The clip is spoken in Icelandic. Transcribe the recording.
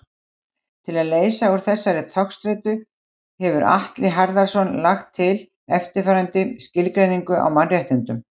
Til að leysa úr þessari togstreitu hefur Atli Harðarson lagt til eftirfarandi skilgreiningu á mannréttindum.